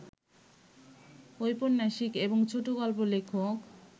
ঔপন্যাসিক এবং ছোটগল্প লেখক